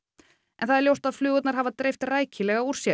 en það er ljóst að flugurnar hafa dreift rækilega úr sér